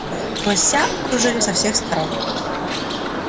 лося окружили со всех сторон